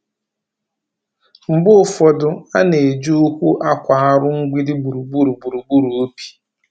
Mgbe ụfọdụ, a na-eji ụkwụ akwa arụ mgbidi gburugburu gburugburu ubi.